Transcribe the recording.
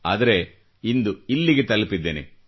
ಆದರೆ ಇಂದು ಇಲ್ಲಿಗೆ ತಲುಪಿದ್ದೇನೆ